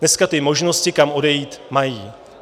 Dneska ty možnosti, kam odejít, mají.